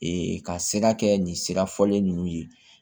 ka sira kɛ nin sira fɔlen ninnu ye